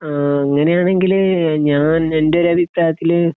അങ്ങനെ ആണെങ്കില് ഞാൻ എന്റെ ഒരു അഭിപ്രായത്തില്